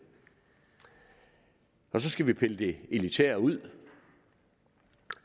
så skal vi pille det elitære ud